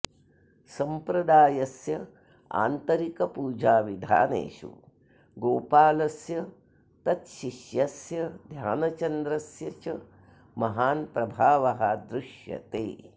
सम्प्रदायस्य आन्तरिकपूजाविधानेषु गोपालस्य तच्छिष्यस्य ध्यानचन्द्रस्य च महान् प्रभावः दृश्यते